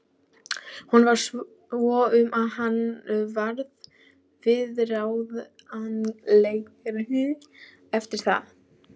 Honum varð svo um að hann varð viðráðanlegri eftir það.